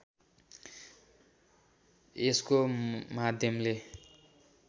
यस्को माध्यमले